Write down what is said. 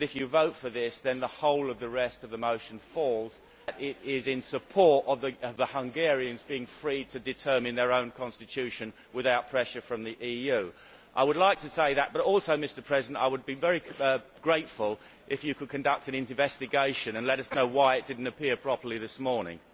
If you vote for this, then the whole of the rest of the motion falls. It is in support of the Hungarians being free to determine their own constitution without pressure from the EU. I would like to say that, but also I would be very grateful if you could conduct an investigation and let us know why it did not appear properly this morning.